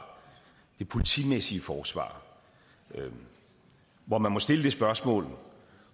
det politimæssige forsvar man må må stille det spørgsmål